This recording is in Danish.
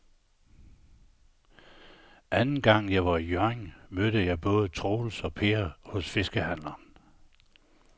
Anden gang jeg var i Hjørring, mødte jeg både Troels og Per hos fiskehandlerne.